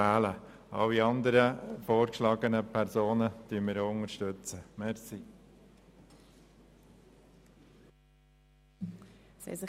Alle anderen vorgeschlagenen Personen unterstützen wir ebenfalls.